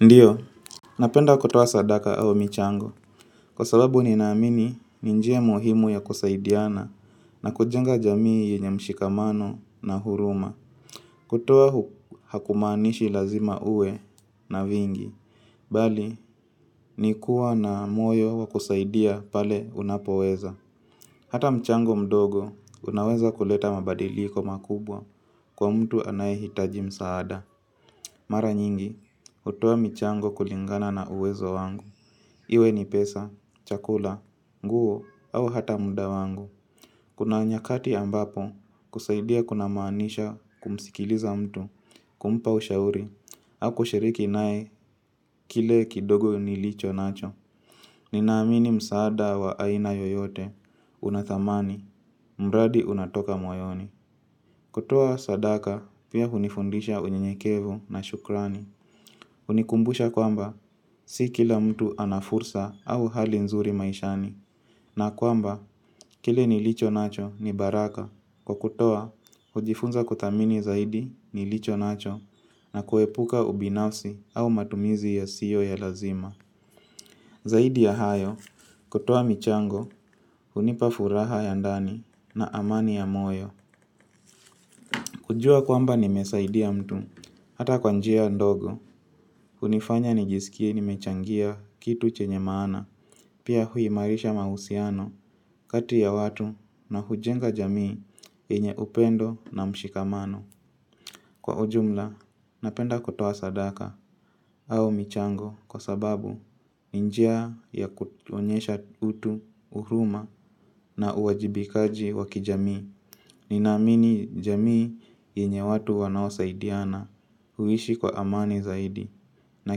Ndio, napenda kutoa sadaka au michango. Kwa sababu ni naamini ni njia muhimu ya kusaidiana na kujenga jamii yenye mshikamano na huruma. Kutoa hakumanishi lazima uwe na vingi, bali ni kuwa na moyo wa kusaidia pale unapoweza. Hata mchango mdogo unaweza kuleta mabadiliko makubwa kwa mtu anaehitaji msaada. Mara nyingi, hutoa michango kulingana na uwezo wangu. Iwe ni pesa, chakula, nguo au hata mda wangu. Kuna nyakati ambapo kusaidia kuna maanisha kumsikiliza mtu kumpa ushauri au kushiriki nae kile kidogo nilicho nacho. Ninaamini msaada wa aina yoyote, unathamani, mradi unatoka moyoni. Kutoa sadaka pia hunifundisha unyenyekevu na shukrani hunikumbusha kwamba si kila mtu anafursa au hali nzuri maishani na kwamba kile nilichonacho ni baraka Kwa kutoa hujifunza kuthamini zaidi nilicho nacho na kuepuka ubinafsi au matumizi ya sio ya lazima Zaidi ya hayo kutoa michango hunipa furaha ya ndani na amani ya moyo kujua kwamba nimesaidia mtu, hata kwa njia ndogo, hunifanya nijisikie nimechangia kitu chenye maana, pia huimarisha mahusiano kati ya watu na hujenga jamii yenye upendo na mshikamano. Kwa ujumla, napenda kuoa sadaka au michango kwa sababu ni njia ya kutuonyesha utu huruma na uwajibikaji wakijamii. Ninamini jamii yenye watu wanaosaidiana huishi kwa amani zaidi na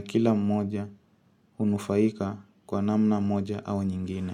kila mmoja hunufaika kwa namna moja au nyingine.